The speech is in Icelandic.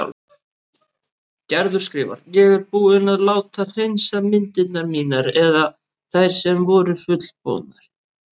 Gerður skrifar: Ég er búin að láta hreinsa myndirnar mínar eða þær sem voru fullbúnar.